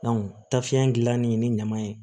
tafe in gilanni ni ɲama ye